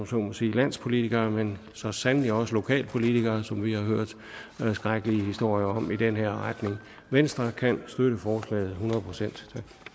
så må sige landspolitikere men så sandelig også lokalpolitikere som vi har hørt skrækkelige historier om i den her retning venstre kan støtte forslaget hundrede procent